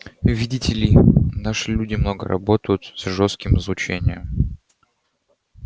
видите ли наши люди много работают с жёстким излучением